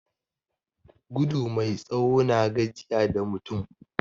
Gudu mai tsawo na gajiya da mutum